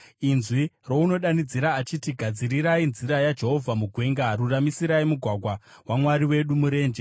Inzwi rounodanidzira achiti, “Gadzirai nzira yaJehovha mugwenga, ruramisai mugwagwa waMwari wedu murenje.